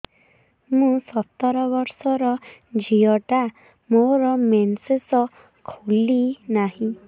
ମୁ ସତର ବର୍ଷର ଝିଅ ଟା ମୋର ମେନ୍ସେସ ଖୁଲି ନାହିଁ